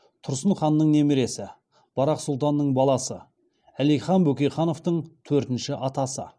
тұрсын ханның немересі барақ сұлтанның баласы әлихан бөкейхановтың төртінші атасы